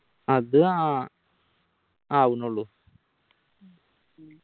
അത് ആഹ് ആവുന്നുള്ളൂ